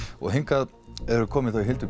hingað eru komin þau Hildur